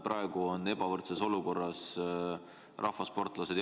Praegu on ebavõrdses olukorras just rahvasportlased.